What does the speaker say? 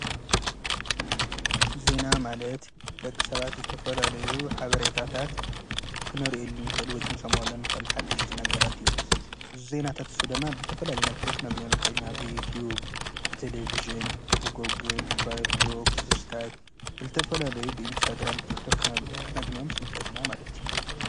ዜና ማለት ደቕ ሰባት ዝተፈላለዩ ሓብረይታታት ክነርኢል ንኽእል ወይክንሰምዓለን ኽልሓድሽቲ ነገራት እዮም ዘይናታትሱ ደማ ብልተፈላለ መልከ ኣኽነግንዮን ኸኢሊና ብይትዩብ ብተሌብሽን ብጐግል ብፋይፍክ ብስካይብ ብልተፈላለዩ ብኢንስታግራም ብቲኽቶ ክነግንዮም ንኸእል ኢና ማለት እዩ።